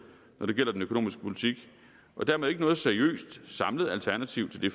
når det gælder den økonomiske politik og dermed ikke noget seriøst samlet alternativ til det